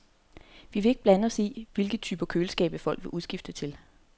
Vi vil ikke blande os i, hvilke typer køleskabe folk vil udskifte til.